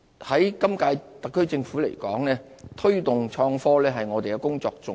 就本屆政府而言，推動創科是我們的工作重點。